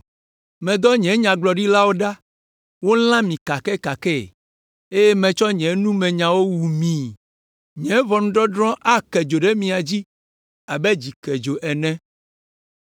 Medɔ nye nyagblɔɖilawo ɖa, wolã mi kakɛkakɛe, eye metsɔ nye numenyawo wu mii; nye ʋɔnudɔdrɔ̃ ake dzo ɖe mia dzi abe dzikedzo ene,